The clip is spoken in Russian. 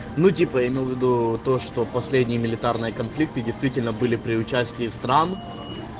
ну типа имел в виду то что последняя элитарная конфликты действительно были при участии стран